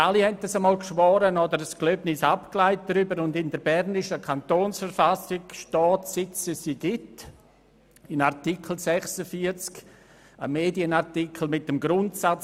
» Wir alle haben dies einmal geschworen oder gelobt, und in der Berner Kantonsverfassung steht, seit es diese gibt, Artikel 46, ein Medienartikel, mit dem Grundsatz: